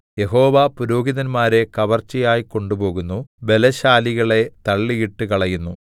യഹോവ പുരോഹിതന്മാരെ കവർച്ചയായി കൊണ്ടുപോകുന്നു ബലശാലികളെ തള്ളിയിട്ടുകളയുന്നു